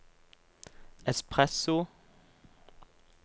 espresso